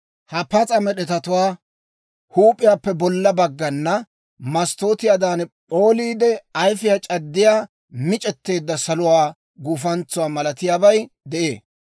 Ha pas'a med'etatuwaa huup'iyaappe bolla baggana masttootiyaadan p'ooliide ayfiyaa c'addiyaa mic'eteedda saluwaa guufantsuwaa malatiyaabay de'ee.